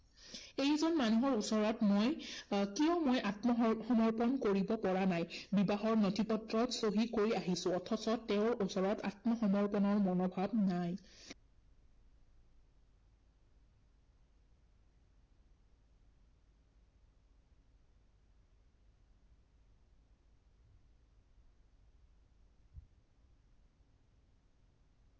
এই যে মানুহৰ ওচৰত মই আহ কিয় মই আত্মসম সমৰ্পন কৰিব পৰা নাই, বিবাহৰ নথি পত্ৰত চহী কৰি আহিছো, অথচ তেওঁৰ ওচৰত আত্মসমৰ্পণৰ মনোভাৱ নাই।